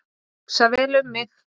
Hugsa vel um mig